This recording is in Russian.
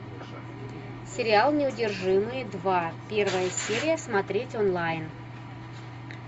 сериал неудержимые два первая серия смотреть онлайн